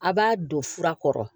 A' b'a don fura kɔrɔ